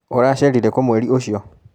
ũracerire kũ mweri ũcio